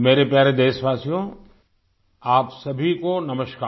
मेरे प्यारे देशवासियो आप सभी को नमस्कार